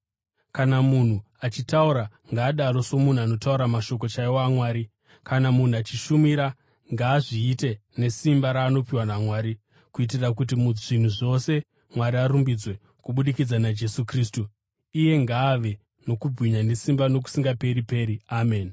Kana munhu achitaura, ngaadaro somunhu anotaura mashoko chaiwo aMwari. Kana munhu achishumira, ngaazviite nesimba raanopiwa naMwari, kuitira kuti muzvinhu zvose Mwari arumbidzwe kubudikidza naJesu Kristu. Iye ngaave nokubwinya nesimba nokusingaperi-peri. Ameni.